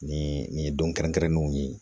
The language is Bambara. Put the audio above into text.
Nin nin ye don kɛrɛnkɛrɛnnenw ye